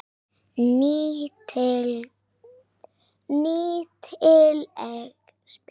Nýtileg spil.